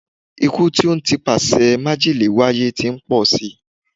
Ikú tí ó n ti ipasẹ̀ májèlé wáyé ti ń pọl si.